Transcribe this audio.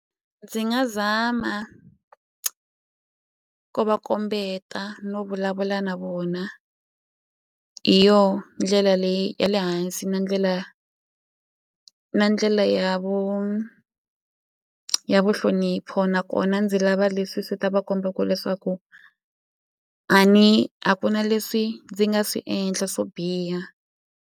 Ndzi nga zama ku va kombeta no vulavula na vona hi yo ndlela leyi ya le hansi na ndlela na ndlela ya ya vuhlonipho nakona ndzi lava leswi swi ta va kombaku leswaku a ni a ku na leswi ndzi nga swi endla swo biha.